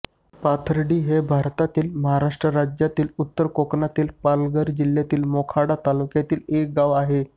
पाथर्डी हे भारतातील महाराष्ट्र राज्यातील उत्तर कोकणातील पालघर जिल्ह्यातील मोखाडा तालुक्यातील एक गाव आहे